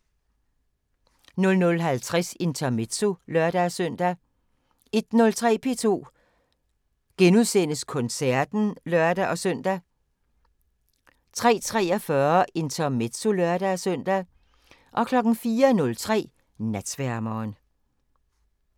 00:50: Intermezzo (lør-søn) 01:03: P2 Koncerten *(lør-søn) 03:43: Intermezzo (lør-søn) 04:03: Natsværmeren